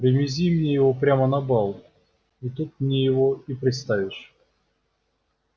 привези мне его прямо на бал и тут мне его и представишь